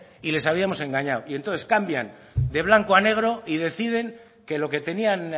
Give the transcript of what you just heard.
y les habíamos engañado y entonces cambian de blanco al negro y deciden que lo que tenían